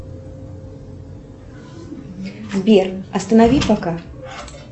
сбер останови пока